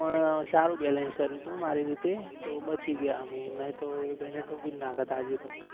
પણ સારુ balance કર્યો હતો મારી રીતે તો બચી ગયા અમે નહી તો એ ભાઈ ને ઠોકી જ નાખ્યા હતા આજે તો.